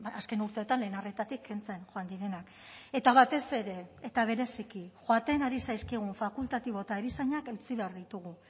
azken urteetan lehen arretatik kentzen joan direnak eta batez ere eta bereziki joaten ari zaizkigun fakultatibo eta erizainak eutsi behar ditugu